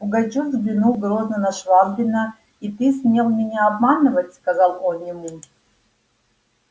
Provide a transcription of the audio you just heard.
пугачёв взглянул грозно на швабрина и ты смел меня обманывать сказал он ему